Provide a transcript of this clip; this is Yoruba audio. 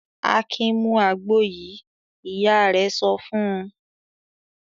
"Akin mú àgbo yìí!" Ìyá rẹ̀ sọ fún un.